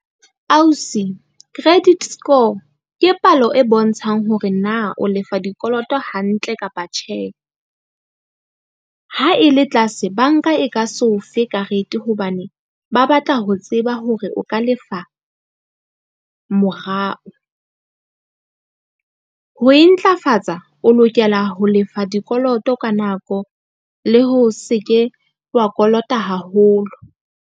Ausi credit score ke palo e bontshang hore na o lefa dikoloto hantle kapa tjhe. Ha e le tlase banka e ka so fe karete. Hobane ba batla ho tseba hore o ka lefa morao. Ho e ntlafatsa o lokela ho lefa dikoloto ka nako le ho se ke wa kolota haholo.